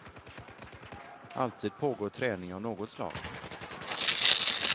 Alltid pågår träning av något slag.